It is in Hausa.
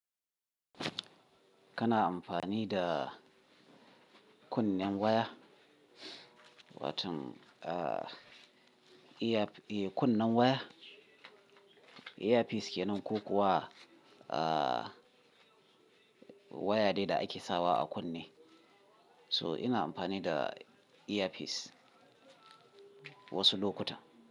Kana amfani da kunnen waya, watan, ah, ear, eh, kunnen waya. Earpiece ke nan ko kuwa, ah, waya dai da ake sawa a kunne? So ina amfani da earpiece wasu lokuta.